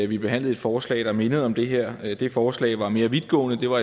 vi behandlede et forslag der mindede om det her det forslag var mere vidtgående det var